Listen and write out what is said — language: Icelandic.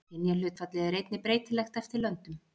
Kynjahlutfallið er einnig breytilegt eftir löndum.